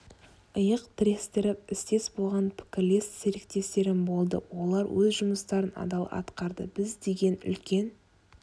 иық тірестіріп істес болған пікірлес серіктестерім болды олар өз жұмыстарын адал атқарды біз деген үлкен